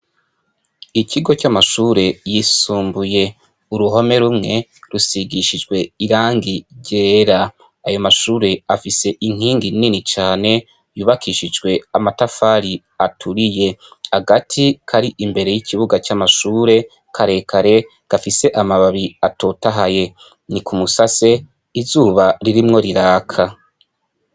Ikigo c'amashure yisumbuye, uruhome rumwe rusigishijwe irangi ryera, ayo mashure afise inkingi nini cane yubakishijwe amatafari aturiye, agati kari imbere y'ikibuga c'amashure karekare gafise amababi atotahaye ni ku musase izuba ririmwo riraka.